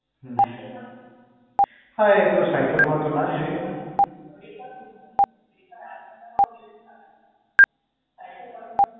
હા એતો સાયકલ માં તો ના જ જોઈએ ને